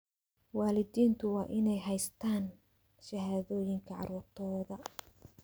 Waalidiintu waa inay haystaan ??shahaadooyinka carruurtooda.